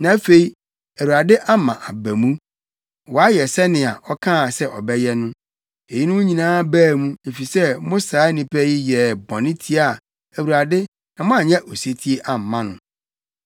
Na afei, Awurade ama aba mu, wayɛ sɛnea ɔkaa se ɔbɛyɛ no. Eyinom nyinaa baa mu, efisɛ mo saa nnipa yi yɛɛ bɔne tiaa Awurade na moanyɛ osetie amma no.